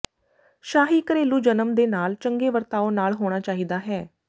ਸ਼ਾਹੀ ਘਰੇਲੂ ਜਨਮ ਦੇ ਨਾਲ ਚੰਗੇ ਵਰਤਾਓ ਨਾਲ ਹੋਣਾ ਚਾਹੀਦਾ ਹੈ